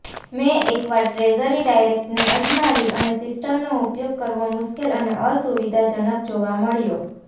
મેં એકવાર ટ્રેઝરી ડાયરેક્ટને અજમાવી અને સિસ્ટમનો ઉપયોગ કરવો મુશ્કેલ અને અસુવિધાજનક જોવા મળ્યો